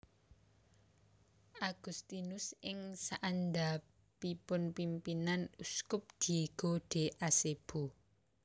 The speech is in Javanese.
Agustinus ing saandhapipun pimpinan Uskup Diego de Acebo